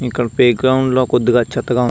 ఇక్కడ ప్లేగ్రౌండ్ లో కొద్దిగా చెత్త గ వున్నది--